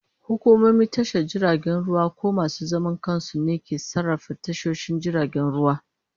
Hukumomin tashar jiragen ruwa ko masu zaman kansu ne ke sarrafa tashoshin jiragen ruwa.